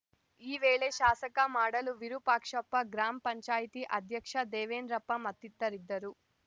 ಈ ವೇಳೆ ಶಾಸಕ ಮಾಡಾಳು ವಿರೂಪಾಕ್ಷಪ್ಪ ಗ್ರಾಮ ಪಂಚಾಯ್ತಿ ಅಧ್ಯಕ್ಷ ದೇವೆಂದ್ರಪ್ಪ ಮತ್ತಿತರರಿದ್ದರು